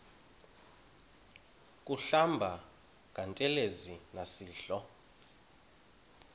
kuhlamba ngantelezi nasidlo